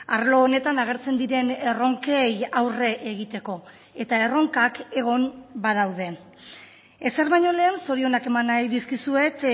arlo honetan agertzen diren erronkei aurre egiteko eta erronkak egon badaude ezer baino lehen zorionak eman nahi dizkizuet